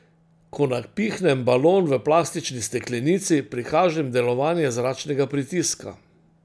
Ko napihnem balon v plastični steklenici, prikažem delovanje zračnega pritiska.